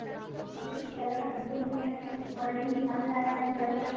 ਠੀਕ ਐ ਪਹਿਲਾਂ ਸੁੱਜੀ ਭੁੰਨਨੀ ਐ ਉਹਦੇ ਚ ਮਿੱਠਾ ਮਿਲਾਨਾ ਥੋੜਾ ਜਾ